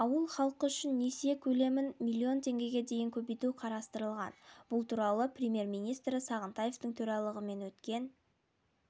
министрдің айтуынша несие жылға дейінгі мерзімге жылдық салым көлемі деңгейде сақтала отырып берілуге тиіс несиенің қолжетімділігін